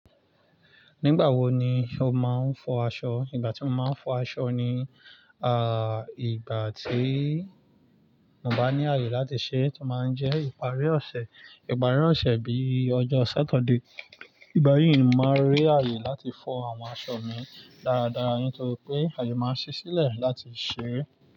Nígbà wo ni o máa ń fọ aṣọ? Ìgbà tí mo máa ń fọ aṣọ ni, ah, ìgbà tí mo bá ní ààyè láti ṣẹ́, tó máa ń jẹ́ ìparí ọ̀sẹ̀. Ìparí ọ̀sẹ̀ bíi ọjọ́ ṣátọ̀de. Nígbà yíì ni màá rí ààyè láti fọ àwọn aṣọ mi dáadáa, nítorí pé ààyè máa ń ṣẹ́ sílẹ̀ láti ṣeré.